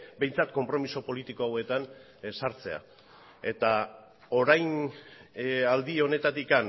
behintzat konpromiso politiko hauetan sartzea eta orain aldi honetatik